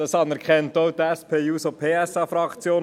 das anerkennt auch die SPJUSO-PSA-Fraktion.